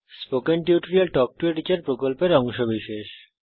spoken tutorial talk to a teacher প্রকল্পের অংশবিশেষ